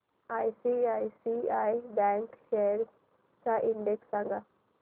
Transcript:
ICICI bank shares चा index सांगा